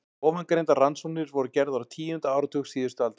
Ofangreindar rannsóknir voru gerðar á tíunda áratug síðustu aldar.